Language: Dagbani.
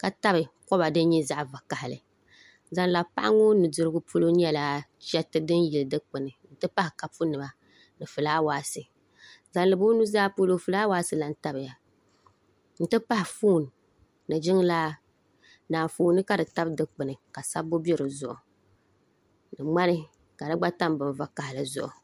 ka tabi koba din nyɛ zaɣ vakaɣali zaŋ labi paɣa ŋo nudirigu polo nyɛla chɛriti din yili dikpuni n ti pahi kapu nima ni fulaawaasi zaŋ labi o nudirigu polo fulaawaasi lan tamya n ti pahi foon ni jiŋlaa ni anfooni ka di tabi dikpuni ka sabbu bɛ dizuɣu ni ŋmani ka di gba tam bin vakaɣali zuɣu